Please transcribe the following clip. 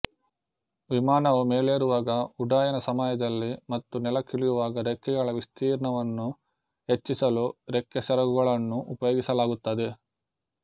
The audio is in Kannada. ವಿಮಾನವು ಮೇಲೇರುವಾಗ ಉಡ್ಡಯನ ಸಮಯದಲ್ಲಿ ಮತ್ತು ನೆಲಕ್ಕಿಳಿಯುವಾಗ ರೆಕ್ಕೆಗಳ ವಿಸ್ತೀರ್ಣವನ್ನು ಹೆಚ್ಚಿಸಲು ರೆಕ್ಕೆಸೆರಗುಗಳನ್ನು ಉಪಯೋಗಿಸಲಾಗುತ್ತದೆ